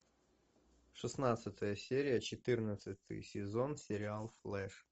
шестнадцатая серия четырнадцатый сезон сериал флэш